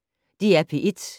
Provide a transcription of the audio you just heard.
DR P1